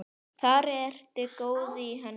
Þar ertu í góðum höndum.